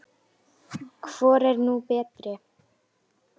Hvor er nú betri?